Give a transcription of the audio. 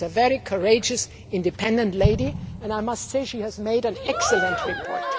She is a very courageous, independent lady, and I must say she has made an excellent report.